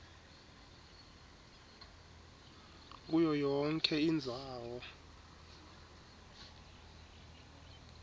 kuyo yonkhe indzawo